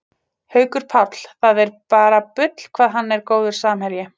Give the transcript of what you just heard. Haukur Páll, það er bara bull hvað hann er góður samherji